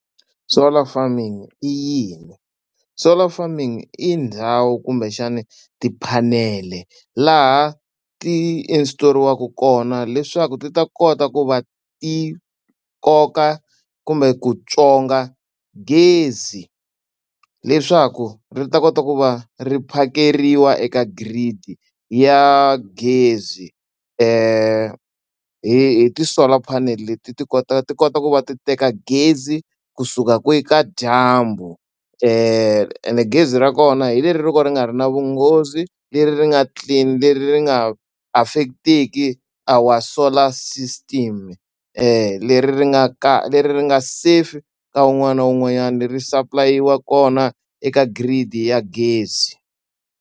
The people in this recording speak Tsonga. Solar farming i yini? Solar farming i ndhawu kumbexani ti-panel-e laha ti-install-riwaka kona leswaku ti ta kota ku va ti koka kumbe ku tswonga gezi leswaku ri ta kota ku va ri phakeriwa eka grid ya gezi. Hi hi ti-solar panel leti ti kota ti kota ku va ti teka gezi kusuka kwihi ka dyambu ende gezi ra kona hi leri ro ka ri nga ri na vunghozi, leri ri nga clean, leri ri nga affect-teki our solar system. Leri ri nga leri ri nga safe ka wun'wana na wun'wanyana, ri supply-iwa kona eka grid-i ya gezi.